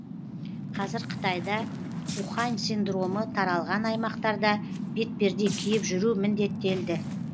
қазір қытайда ухань синдромы таралған аймақтарда бетперде киіп жүру міндеттелді